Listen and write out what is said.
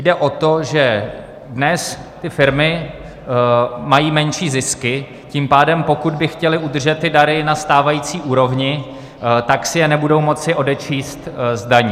Jde o to, že dnes ty firmy mají menší zisky, tím pádem pokud by chtěly udržet ty dary na stávající úrovni, tak si je nebudou moci odečíst z daní.